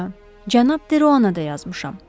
Hə, cənab Deroana da yazmışam.